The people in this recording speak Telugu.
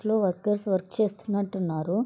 ఆఫీసు లో వర్కర్స్ వర్క్ చేస్తునట్టు ఉన్నారు.